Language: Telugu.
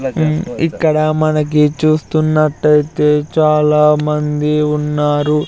మ్ ఇక్కడ మనకి చూస్తున్నట్టయితే చాలా మంది ఉన్నారు.